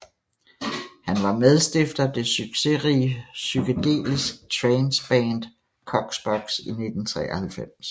Han var medstifter at det succesrige psykedelisk trance band Koxbox i 1993